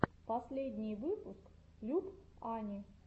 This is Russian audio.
последний выпуск люб ани